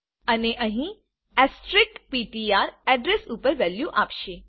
અને અહીં asterisk PTR address ઉપર વેલ્યુ આપશે